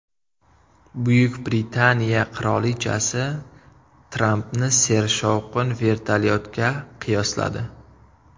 Buyuk Britaniya qirolichasi Trampni sershovqin vertolyotga qiyosladi .